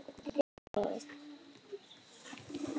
Sagði hann.